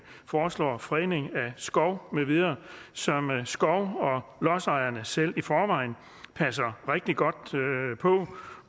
foreslår fredning af skov med videre som skov og lodsejerne selv i forvejen passer rigtig godt på og